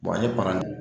ne parɛl